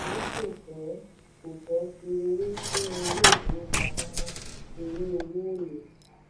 tori kò fẹ́ kò fẹ́ fi owó sínú ilé ìfowópamọ mọ́ torí owó ò le gba a.